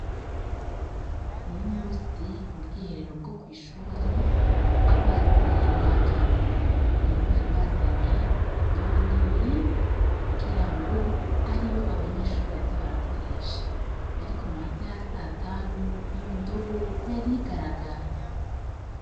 Uno musi mu bwiherero bwo kwishure amazi yari yakamye, rero bari bazanye indobo nini kugirango abe ariyo abanyeshure baza barakoresha, ariko mu masaha ya satanu iyo ndobo yari igaragara.